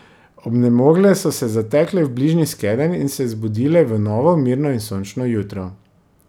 Obnemogle so se zatekle v bližnji skedenj in se zbudile v novo, mirno in sončno jutro.